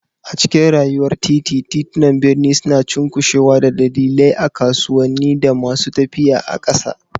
A cikin rayuwar titi, titunan birni suna cunkushewa da dillalai a kasuwanni, da masu tafiya a ƙasa.